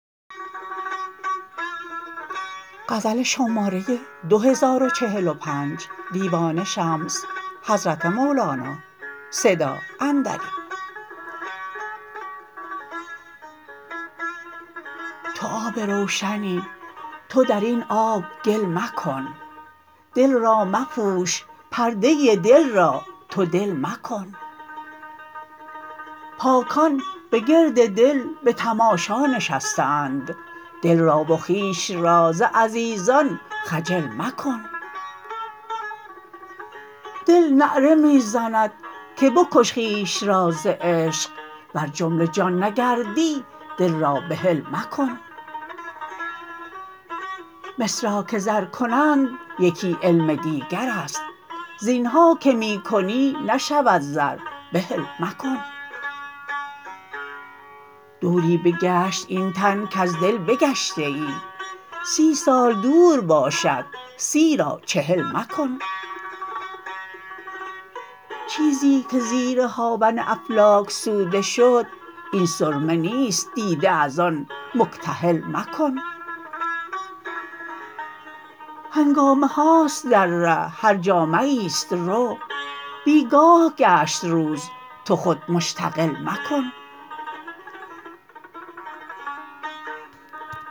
تو آب روشنی تو در این آب گل مکن دل را مپوش پرده دل را تو دل مکن پاکان به گرد در به تماشا نشسته اند دل را و خویش را ز عزیزان خجل مکن دل نعره می زند که بکش خویش را ز عشق ور جمله جان نگردی دل را بحل مکن مس را که زر کنند یکی علم دیگر است زین ها که می کنی نشود زر بهل مکن دوری بگشت این تن کز دل بگشته ای سی سال دور باشد سی را چهل مکن چیزی که زیر هاون افلاک سوده شد این سرمه نیست دیده از آن مکتحل مکن هنگامه هاست در ره هر جا مه ای است رو بی گاه گشت روز تو خود مشتغل مکن